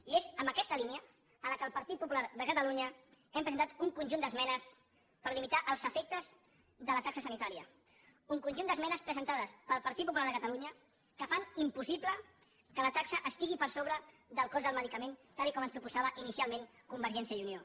i és en aquesta línia en la qual el partit popular de catalunya hem presentat un conjunt d’esmenes per limitar els efectes de la taxa sanitària un conjunt d’esmenes presentades pel partit popular de catalunya que fan impossible que la taxa estigui per sobre del cost del medicament tal com ens proposava inicialment convergència i unió